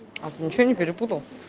а ты ничего не перепутал